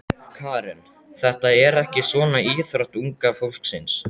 Karen: Þetta er ekki svona íþrótt unga fólksins?